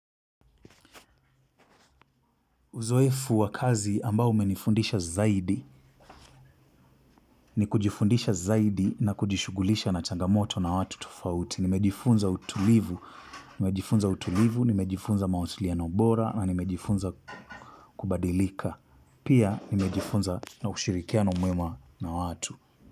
Uzoefu wa kazi ambao umenifundisha zaidi ni kujifundisha zaidi na kujishughulisha na changamoto na watu tofauti. Nimejifunza utulivu, nimejifunza mawasiliano bora na nimejifunza kubadilika. Pia nimejifunza naushirikiano mwema na watu.